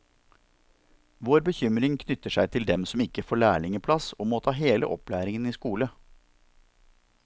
Vår bekymring knytter seg til dem som ikke får lærlingeplass og må ta hele opplæringen i skole.